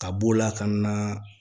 Ka b'o la ka na